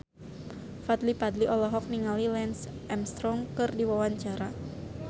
Fadly Padi olohok ningali Lance Armstrong keur diwawancara